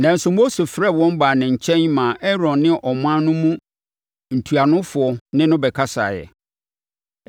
Nanso, Mose frɛɛ wɔn baa ne nkyɛn maa Aaron ne ɔman no mu ntuanofoɔ ne no bɛkasaeɛ.